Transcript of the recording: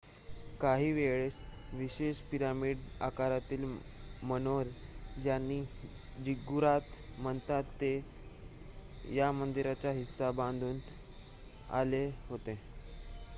काहीवेळेस विशेष पिरॅमिड आकारातील मनोरे ज्यांना झिग्गुरात म्हणतात ते या मंदिरांचा हिस्सा म्हणून बांधण्यात आले होते